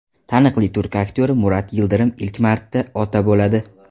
Taniqli turk aktyori Murat Yildirim ilk marta ota bo‘ladi.